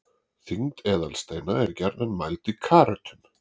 þyngd eðalsteina er gjarnan mæld í karötum